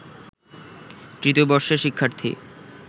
তৃতীয় বর্ষের শিক্ষার্থী